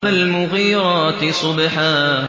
فَالْمُغِيرَاتِ صُبْحًا